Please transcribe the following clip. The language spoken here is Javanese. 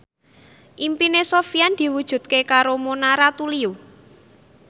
impine Sofyan diwujudke karo Mona Ratuliu